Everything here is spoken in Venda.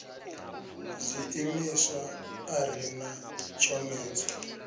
zwiimiswa a ri na tshomedzo